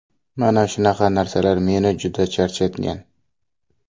Mana shunaqa narsalar meni juda charchatgan.